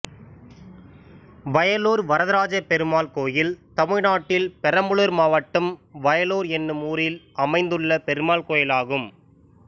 வயலுர் வரதராஜப்பெருமாள் கோயில் தமிழ்நாட்டில் பெரம்பலூர் மாவட்டம் வயலுர் என்னும் ஊரில் அமைந்துள்ள பெருமாள் கோயிலாகும்